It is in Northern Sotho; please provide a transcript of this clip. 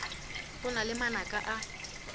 go na le manaka a